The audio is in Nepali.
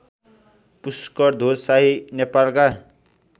पुष्करध्वज शाही नेपालका